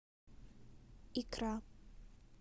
икра